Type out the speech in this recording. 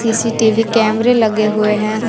CCTV कैमरे लगे हुए हैं।